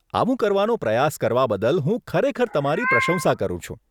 આવું કરવાનો પ્રયાસ કરવા બદલ હું ખરેખર તમારી પ્રશંસા કરું છું.